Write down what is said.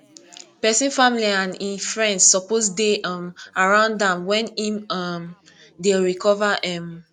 pesin family and e friends suppose dey um around am when em um dey recover um